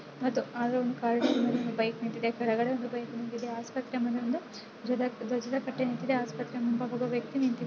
ಅದು ಆದ್ರು ಒಂದು ಬೈಕ್ ನಿಂತಿದೆ ಕೆಳಗಡೆ ಒಂದ್ ಬೈಕ್ ನಿಂತಿದೆ ಆಸ್ಪತ್ರೆ ಮೇಲೊಂದು ಧ್ವಜ ಧ್ವಜದ ಕಟ್ಟೆ ನಿಂತಿದೆ ಆಸ್ಪತ್ರೆ ಹಿಂಭಾಗ ಒಬ್ಬ ವ್ಯಕ್ತಿ ನಿಂತಿದ್ದಾನೆ.